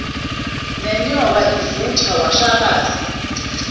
nonyoka ivuthwa washalaza